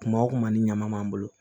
Kuma o kuma ni ɲama m'an bolo